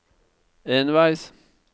enveis